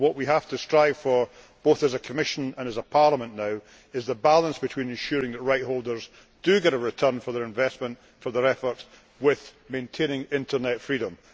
What we have to strive for now, both as a Commission and as a Parliament, is the balance between ensuring that rights holders do get a return for their investment, for their effort, whilst maintaining Internet freedom.